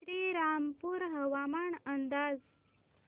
श्रीरामपूर हवामान अंदाज